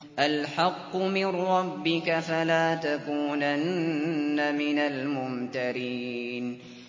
الْحَقُّ مِن رَّبِّكَ ۖ فَلَا تَكُونَنَّ مِنَ الْمُمْتَرِينَ